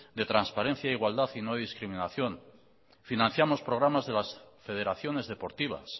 de transparencia e igualdad y no discriminación financiamos programas de las federaciones deportivas